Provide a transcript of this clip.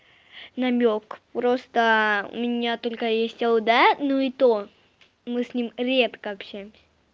намёк просто у меня только есть л д ну и то мы с ним редко общаемся